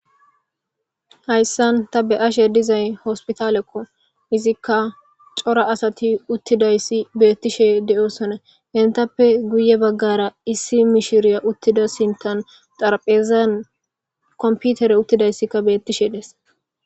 hayssan ta be ashe dizay hospitalekko izikka cora asati uttidayssi beettishe de7osona hentappe guye baggara issi mishiriya uttida sintan xarphezan komputere uttidayssikka beettishe dees